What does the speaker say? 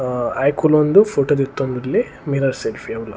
ಆ ಆಯೆ ಕುಲೋಂದು ಫೊಟೊ ದೆತ್ತೊಂದುಲ್ಲೆ ಮಿರರ್ ಸೆಲ್ಫೀ ಅವುಲ.